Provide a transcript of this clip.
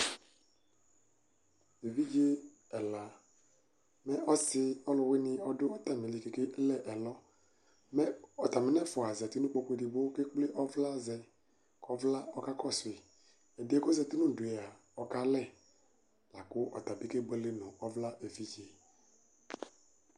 Evidze ɛla nʊ ɔsi ɔluwɩnɩ ɔdʊ atamili, kʊ ekele ɛlɔ, ataminɛfua zati nʊ ikpoku edigbo kʊ ekple ɔvla zɛ, ɔvla kakɔsu yi, ɛdɩ yɛ kʊ ɔzati nʊ udu yɛ kalɛ, lakʊ ɔtabɩ kebuele nʊ ɔvla evidze